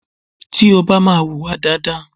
Tí o bá máa hùwà dáadáa.